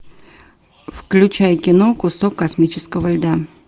включай кино кусок космического льда